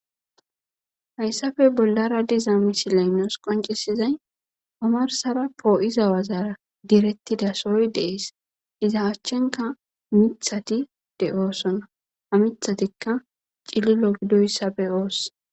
hayssafe bollara diza misilay nuus qoncisizay omarsara poo7iza wazara direttida sory deees iza achchenka mithati de oossona ha mithatikka cililo gidoyssabe oosse